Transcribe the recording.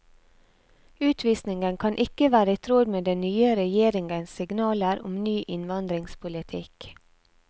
Utvisningen kan ikke være i tråd med den nye regjeringens signaler om ny innvandringspolitikk.